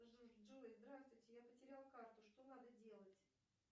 джой здравствуйте я потеряла карту что надо делать